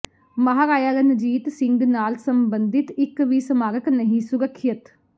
ਮਹਾਰਾਜਾ ਰਣਜੀਤ ਸਿੰਘ ਨਾਲ ਸਬੰਧਿਤ ਇੱਕ ਵੀ ਸਮਾਰਕ ਨਹੀਂ ਸੁਰੱਖਿਅਤ